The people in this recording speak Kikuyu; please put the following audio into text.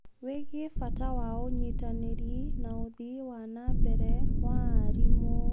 wĩgie bata wa ũnyitanĩri na ũthii wa na mbere wa arimũ.